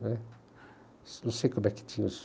né. Não sei como é que tinha isso.